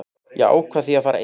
Ég ákvað því að fara einn.